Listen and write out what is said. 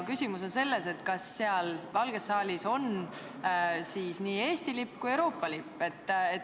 Küsimus on selles, kas Valges saalis võiksid olla nii Eesti lipp kui ka Euroopa Liidu lipp.